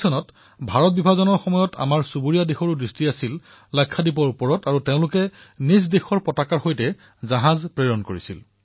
১৯৪৭ চনত ভাৰত বিভাজনৰ সময়ত আমাৰ ওচৰচুবুৰীয়াৰ দৃষ্টি লাক্ষাদ্বীপৰ ওপৰত আছিল আৰু তেওঁলোকে নিজৰ পতাকা লৈ তালৈ জাহাজ প্ৰেৰণ কৰিছিল